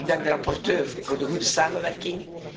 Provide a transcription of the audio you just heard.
Ik dank de rapporteur voor de goede samenwerking.